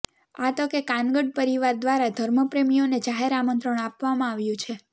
આ તકે કાનગડ પરિવાર દ્વારા ધર્મપ્રેમીઓને જાહેર આમંત્રણ આપવામાં આવ્યું છે